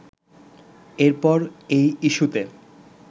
এরপর এই ইস্যূতে